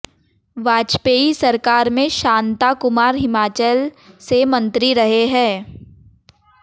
वाजपेयी सरकार में शांता कुमार हिमाचल से मंत्री रहे हैं